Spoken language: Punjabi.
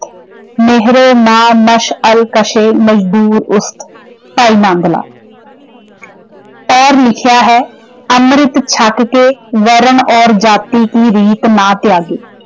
ਭਾਈ ਨੰਦ ਲਾਲ ਔਰ ਲਿਖਿਆ ਹੈ, ਅਮ੍ਰਿੰਤ ਛਕ ਕੇ ਵਰਨ ਔਰ ਜਾਤੀ ਕੀ ਰੀਤ ਨਾ ਤਿਆਗੇਂ